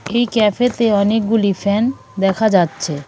এই ক্যাফেতে অনেকগুলি ফ্যান দেখা যাচ্ছে .